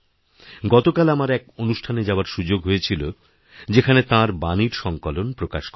গতকাল আমার এক অনুষ্ঠানে যাওয়ারসুযোগ হয়েছিল যেখানে তাঁর বাণীর সঙ্কলন প্রকাশ করা হয়